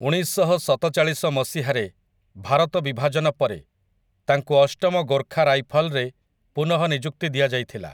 ଉଣେଇଶଶହସତଚାଳିଶ ମସିହାରେ ଭାରତ ବିଭାଜନ ପରେ, ତାଙ୍କୁ ଅଷ୍ଟମ ଗୋର୍ଖା ରାଇଫଲ୍‌ରେ ପୁନଃନିଯୁକ୍ତି ଦିଆଯାଇଥିଲା ।